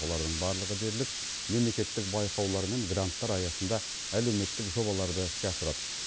олардың барлығы дерлік мемлекеттік байқаулар мен гранттар аясында әлеуметтік жобаларды іске асырады